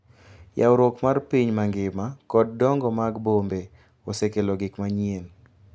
Yawruok mar piny mangima kod dongo mag bombe osekelo gik manyien.